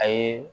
A ye